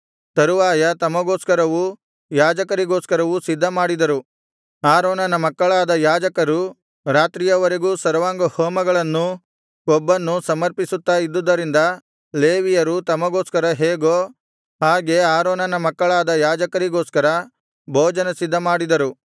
ತರುವಾಯ ತಮಗೋಸ್ಕರವೂ ಯಾಜಕರಿಗೋಸ್ಕರವೂ ಸಿದ್ಧಮಾಡಿದರು ಆರೋನನ ಮಕ್ಕಳಾದ ಯಾಜಕರು ರಾತ್ರಿಯವರೆಗೂ ಸರ್ವಾಂಗಹೋಮಗಳನ್ನೂ ಕೊಬ್ಬನ್ನೂ ಸರ್ಮಪಿಸುತ್ತಾ ಇದ್ದುದರಿಂದ ಲೇವಿಯರು ತಮಗೋಸ್ಕರ ಹೇಗೋ ಹಾಗೆ ಆರೋನನ ಮಕ್ಕಳಾದ ಯಾಜಕರಿಗೋಸ್ಕರ ಭೋಜನ ಸಿದ್ಧಮಾಡಿದರು